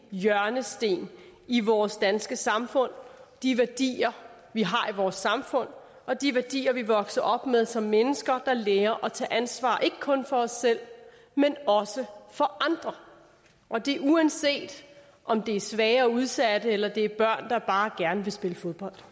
hjørnesten i vores danske samfund de værdier vi har i vores samfund og de værdier vi er vokset op med som mennesker der lærer at tage ansvar ikke kun for os selv men også for andre og det er uanset om det er svage og udsatte eller det er børn der bare gerne vil spille fodbold